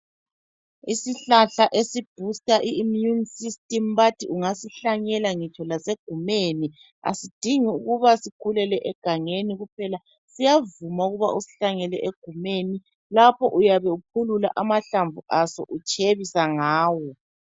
Isihlahla esi boost immune system bathi ungasihlanyela ngitsho lasegumeni. Asidingi ukuba sikhulele engangeni kuphela. Siyavuma ukuba usihlanyele egumeni. Lapho uyabe uphulula amahlamvu aso utshebisa ngawo.